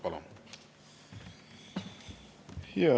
Palun!